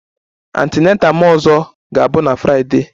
My ọzọ antenatal ga-abụ na Friday